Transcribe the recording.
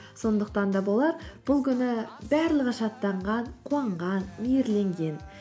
сондықтан да болар бұл күні барлығы шаттанған қуанған мейірленген